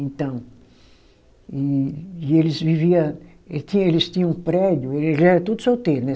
Então. E e eles vivia, ele tinha, eles tinha um prédio, eles eram todos solteiros, né?